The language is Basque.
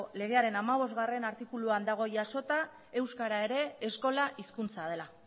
legearen hamabostgarrena artikuluan dago jasota euskara ere eskola hizkuntza dela